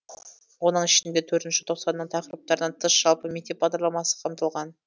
оның ішінде төртінші тоқсанның тақырыптарынан тыс жалпы мектеп бағдарламасы қамтылған